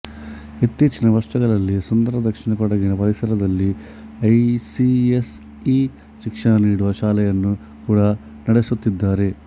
ಇತ್ತೀಚಿನ ವರ್ಷಗಳಲ್ಲಿ ಸುಂದರ ದಕ್ಷಿಣ ಕೊಡಗಿನ ಪರಿಸರದಲ್ಲಿ ಐಸಿಎಸ್ಇ ಶಿಕ್ಷಣ ನೀಡುವ ಶಾಲೆಯನ್ನು ಕೂಡ ನಡೆಸುತ್ತಿದ್ದಾರೆ